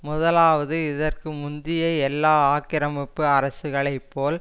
முதலாவது இதற்கு முந்திய எல்லா ஆக்கிரமிப்பு அரசுகளை போல்